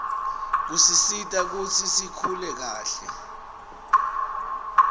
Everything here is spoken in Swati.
kusisita kutsi sikuhle kahle